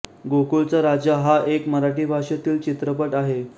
गोकुळचा राजा हा एक मराठी भाषेतील चित्रपट आहे